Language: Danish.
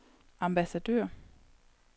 ambassadør